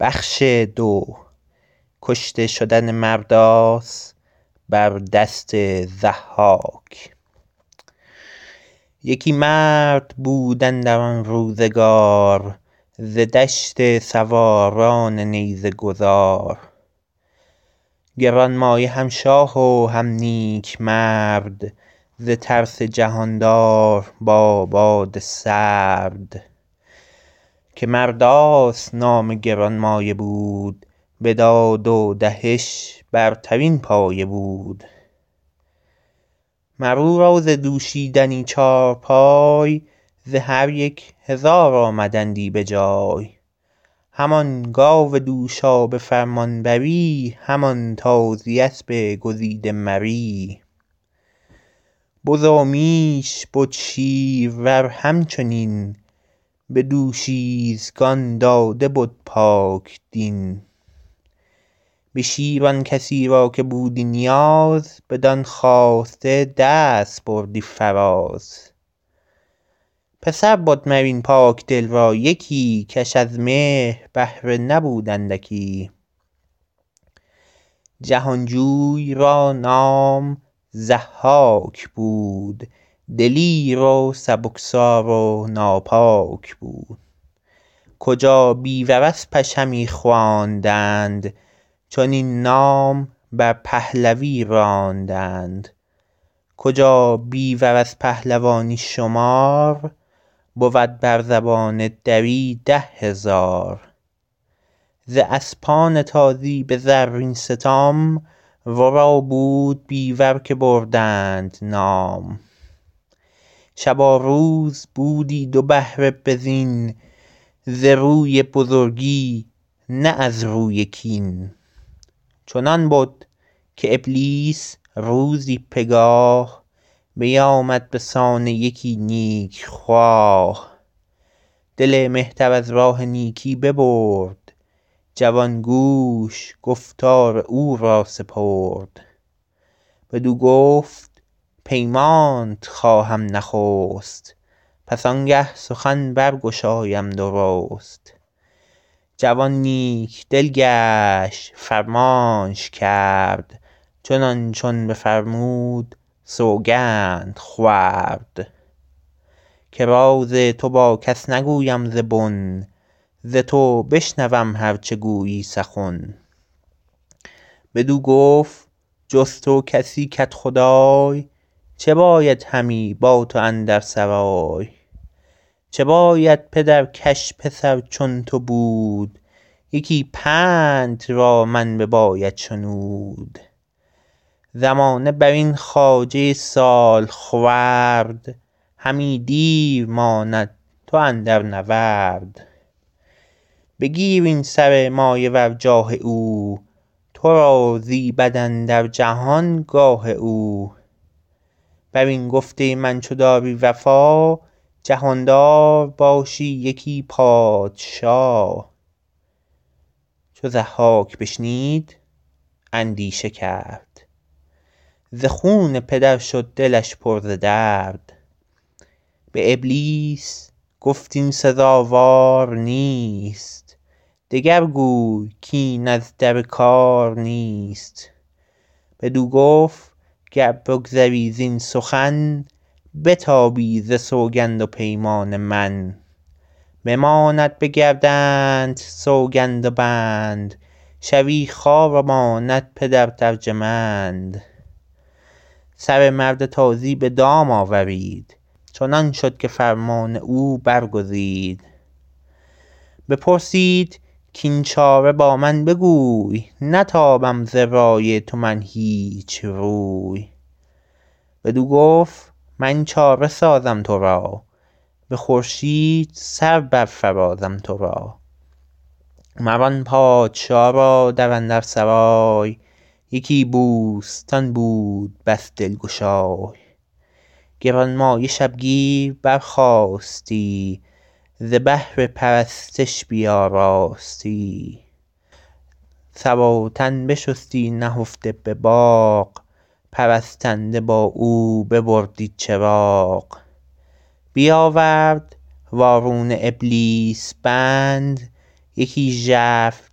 یکی مرد بود اندر آن روزگار ز دشت سواران نیزه گذار گرانمایه هم شاه و هم نیک مرد ز ترس جهاندار با باد سرد که مرداس نام گرانمایه بود به داد و دهش برترین پایه بود مر او را ز دوشیدنی چارپای ز هر یک هزار آمدندی به جای همان گاو دوشا به فرمانبری همان تازی اسب گزیده مری بز و میش بد شیرور همچنین به دوشیزگان داده بد پاکدین به شیر آن کسی را که بودی نیاز بدان خواسته دست بردی فراز پسر بد مر این پاکدل را یکی کش از مهر بهره نبود اندکی جهانجوی را نام ضحاک بود دلیر و سبکسار و ناپاک بود کجا بیور اسپش همی خواندند چنین نام بر پهلوی راندند کجا بیور از پهلوانی شمار بود بر زبان دری ده هزار ز اسپان تازی به زرین ستام ورا بود بیور که بردند نام شب و روز بودی دو بهره به زین ز روی بزرگی نه از روی کین چنان بد که ابلیس روزی پگاه بیامد به سان یکی نیک خواه دل مهتر از راه نیکی ببرد جوان گوش گفتار او را سپرد بدو گفت پیمانت خواهم نخست پس آنگه سخن برگشایم درست جوان نیک دل گشت فرمانش کرد چنان چون بفرمود سوگند خورد که راز تو با کس نگویم ز بن ز تو بشنوم هر چه گویی سخن بدو گفت جز تو کسی کدخدای چه باید همی با تو اندر سرای چه باید پدر کش پسر چون تو بود یکی پندت از من بباید شنود زمانه برین خواجه سالخورد همی دیر ماند تو اندر نورد بگیر این سر مایه ور جاه او تو را زیبد اندر جهان گاه او بر این گفته من چو داری وفا جهاندار باشی یکی پادشا چو ضحاک بشنید اندیشه کرد ز خون پدر شد دلش پر ز درد به ابلیس گفت این سزاوار نیست دگر گوی کاین از در کار نیست بدو گفت گر بگذری زین سخن بتابی ز سوگند و پیمان من بماند به گردنت سوگند و بند شوی خوار و ماند پدرت ارجمند سر مرد تازی به دام آورید چنان شد که فرمان او برگزید بپرسید کاین چاره با من بگوی نتابم ز رای تو من هیچ روی بدو گفت من چاره سازم ترا به خورشید سر برفرازم ترا مر آن پادشا را در اندر سرای یکی بوستان بود بس دلگشای گرانمایه شبگیر برخاستی ز بهر پرستش بیاراستی سر و تن بشستی نهفته به باغ پرستنده با او ببردی چراغ بیاورد وارونه ابلیس بند یکی ژرف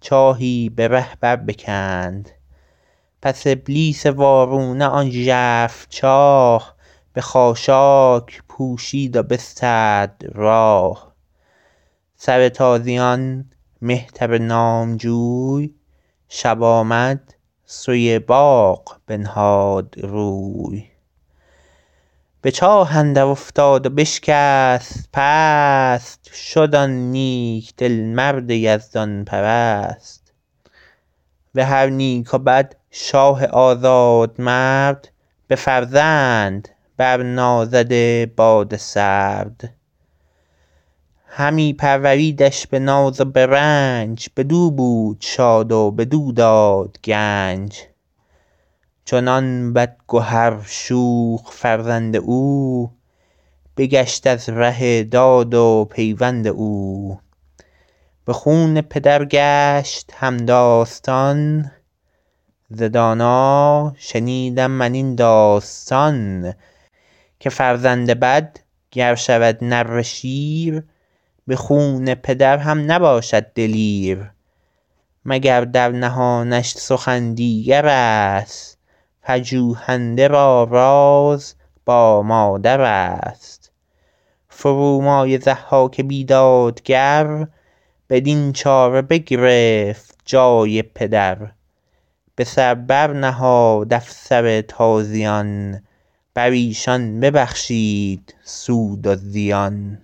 چاهی به ره بر بکند پس ابلیس وارونه آن ژرف چاه به خاشاک پوشید و بسترد راه سر تازیان مهتر نامجوی شب آمد سوی باغ بنهاد روی به چاه اندر افتاد و بشکست پست شد آن نیک دل مرد یزدان پرست به هر نیک و بد شاه آزاد مرد به فرزند بر نازده باد سرد همی پروریدش به ناز و به رنج بدو بود شاد و بدو داد گنج چنان بدگهر شوخ فرزند او بگشت از ره داد و پیوند او به خون پدر گشت همداستان ز دانا شنیدم من این داستان که فرزند بد گر شود نره شیر به خون پدر هم نباشد دلیر مگر در نهانش سخن دیگرست پژوهنده را راز با مادرست فرومایه ضحاک بیدادگر بدین چاره بگرفت جای پدر به سر بر نهاد افسر تازیان بر ایشان ببخشید سود و زیان